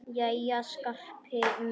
Jæja, Skarpi minn.